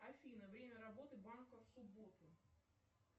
афина время работы банка в субботу